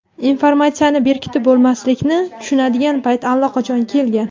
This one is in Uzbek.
Informatsiyani berkitib bo‘lmaslikni tushunadigan payt allaqachon kelgan.